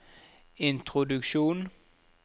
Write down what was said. introduksjon